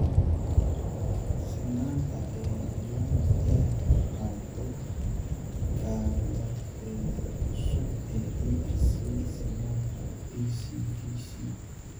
Sinnaanta ayaa dhawaan daaha ka qaaday kaabaheeda cusub ee DRC, Sinnaanta BCDC.